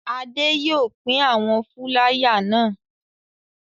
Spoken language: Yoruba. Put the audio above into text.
Adé yóò lọ pín àwọn fúláyà náà.